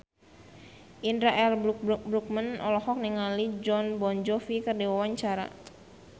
Indra L. Bruggman olohok ningali Jon Bon Jovi keur diwawancara